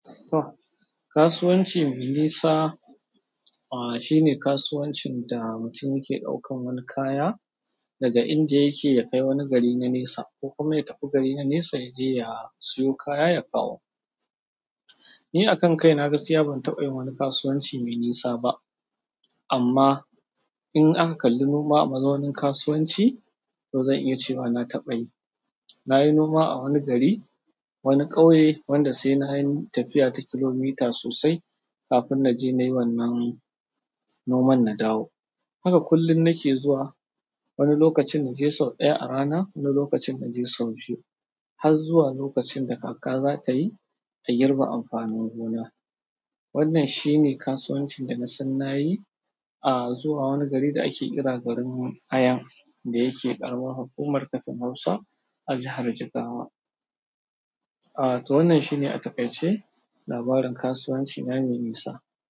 Kasuwanci mai nisa, aha shine kasuwancin da mutum yake ɗaukan wani kaya daga inda yake ya kai wani gari na nesa ko kuma ya tafi gari na nesa ya je ya siyo kaya ya kawo. Ni a kan kai na gaskiya ban taɓa yin wani kasuwanci mai nisa ba. Amma in aka kalli noma a mazaunin kasuwanci, to zan iya cewa na taɓa yi. Na yi noma a wani gari, wani ƙauye wanda sai na yi tafiya ta kilomita sosai kafin na je na yi wannan noman na dawo. Haka kullum nake zuwa, wani lokacin inje sau ɗaya a rana wani lokacin inje sau biyu har zuwa lokacinda kaka zatayi, in girbe amfanin gona. Wannan shi ne kasuwancin da na san na yi, aa zuwa wani gari da ake kira garin aya, da yake ƙaramar hukumar Kafin Hausa a jihar Jigawa. Aa, to wannan shi ne aƙai-ƙaice labarin kasuwanci na mai nisa.